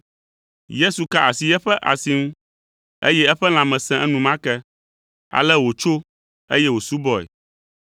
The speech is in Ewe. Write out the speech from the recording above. Yesu ka asi eƒe asi ŋu, eye eƒe lãme sẽ enumake. Ale wòtso, eye wòsubɔe.